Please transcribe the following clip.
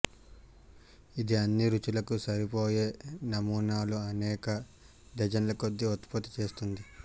ఇది అన్ని రుచులకు సరిపోయే నమూనాలు అనేక డజన్ల కొద్దీ ఉత్పత్తి చేస్తుంది